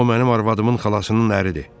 O mənim arvadımın xalasının əridir.